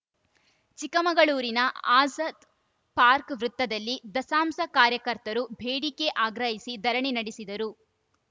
ಚಿಕ್ಕಮಗಳೂರಿನ ಆಜದ್‌ ಪಾರ್ಕ್ ವೃತ್ತದಲ್ಲಿ ದಸಂಸ ಕಾರ್ಯಕರ್ತರು ಬೇಡಿಕೆ ಆಗ್ರಹಿಸಿ ಧರಣಿ ನಡೆಸಿದರು